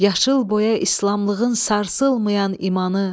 Yaşıl boya islamlığın sarsılmayan imanı.